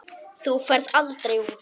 Þú ferð aldrei út.